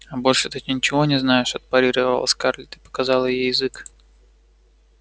а больше ты ничего не знаешь отпарировала скарлетт и показала ей язык